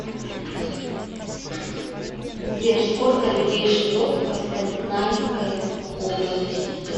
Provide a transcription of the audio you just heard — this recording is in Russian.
сбер сколько людей живет в костанайская область